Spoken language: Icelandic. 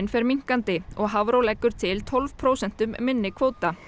fer minnkandi og Hafró leggur til tólf prósentum minni kvóta